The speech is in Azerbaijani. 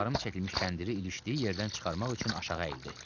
Ahab tarım çəkilmiş kəndiri ilişdiyi yerdən çıxarmaq üçün aşağı əyildi.